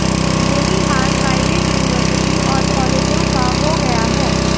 यही हाल private university और कॉलेजों का हो गया है